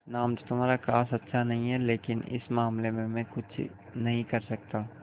नाम तो तुम्हारा खास अच्छा नहीं है लेकिन इस मामले में मैं कुछ नहीं कर सकता